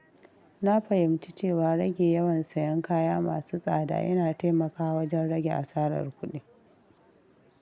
Na fahimci cewa rage yawan sayen kaya masu tsada yana taimakawa wajen rage asarar kuɗi.